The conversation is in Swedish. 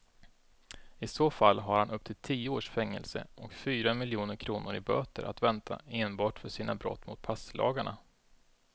I så fall har han upp till tio års fängelse och fyra miljoner kronor i böter att vänta enbart för sina brott mot passlagarna.